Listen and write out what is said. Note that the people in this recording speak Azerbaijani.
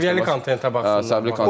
Səviyyəli kontentə baxsınlar.